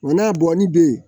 Wa n'a bɔnni bɛ yen